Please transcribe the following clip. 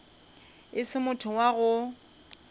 e se motho wa go